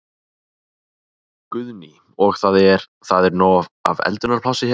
Guðný: Og það er, það er nóg af eldunarplássi hérna?